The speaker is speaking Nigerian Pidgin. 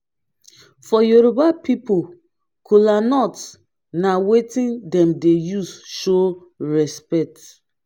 for yoroba pipol kolanut na wetin dem dey use show respekt